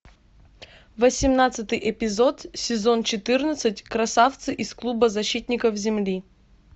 восемнадцатый эпизод сезон четырнадцать красавцы из клуба защитников земли